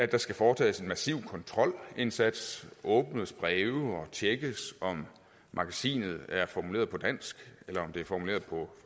der skal foretages en massiv kontrolindsats åbnes breve og tjekkes om magasinet er formuleret på dansk eller om det er formuleret på